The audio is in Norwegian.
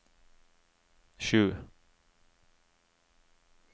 sju